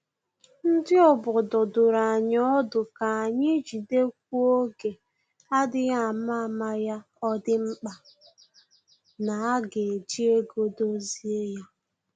Ndị obodo duru anyị ọdụ ka anyị jidekwuo oge adịghị ama ama ya ọ dị mkpa na-aga eji ego dozie ya